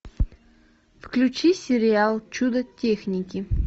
включи сериал чудо техники